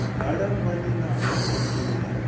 ha lambani na ha makuya